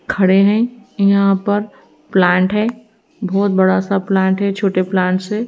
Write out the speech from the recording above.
खड़े हैं यहां पर प्लांट है बहोत बड़ा सा प्लांट है छोटे प्लांट से--